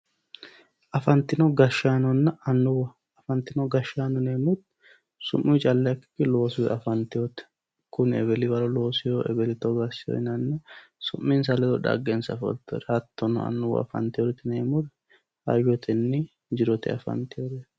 afantinonna annuwa afantino gashshaano yinanniri su'muyi calla ikkikkinni loosuyi afanetyoote kuni eweli waro looseeyooho eweli togo asseyo yinayiihu su'minsa ledo dhaggensa afanteyooreeti hattono annuwu su'minsa ledo jirote afanteyoreeti